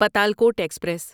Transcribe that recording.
Patalkot express